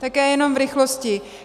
Také jenom v rychlosti.